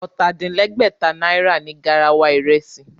Ọ̀tà-din-lẹ́gbẹ̀ta náírà ni garawa ìrẹsì